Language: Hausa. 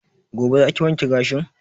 Gobe za ki wanke gashin?